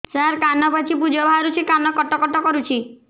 ସାର କାନ ପାଚି ପୂଜ ବାହାରୁଛି କାନ କଟ କଟ କରୁଛି